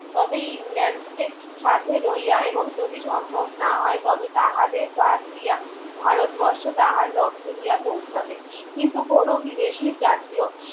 তবে ইংলেন্ড কে সাথে লইয়া এবং যদি সম্ভব না হয় তবে তাহাদের বাদ দিয়া ভারত বর্ষ তাহার লক্ষে গিয়া পৌঁছাবে কিন্তু কোন বিদেশী জাতীয়